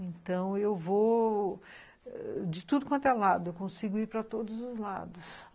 Então, eu vou de tudo quanto é lado, eu consigo ir para todos os lados.